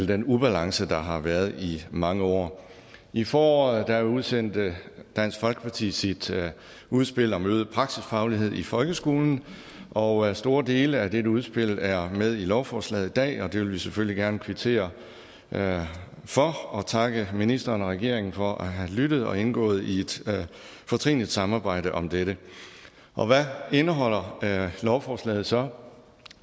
den ubalance der har været i mange år i foråret udsendte dansk folkeparti sit udspil om øget praksisfaglighed i folkeskolen og store dele af dette udspil er med i lovforslaget i dag og det vil vi selvfølgelig gerne kvittere for og takke ministeren og regeringen for at have lyttet og indgået i et fortrinligt samarbejde om dette hvad indeholder lovforslaget så